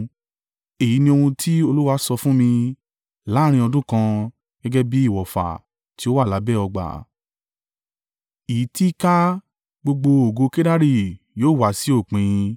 Èyí ni ohun tí Olúwa sọ fún mi: “Láàrín ọdún kan, gẹ́gẹ́ bí ìwọ̀fà tí ó wà lábẹ́ ọgbà, í ti í kà á, gbogbo ògo ìlú Kedari yóò wá sí òpin.